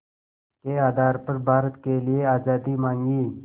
के आधार पर भारत के लिए आज़ादी मांगी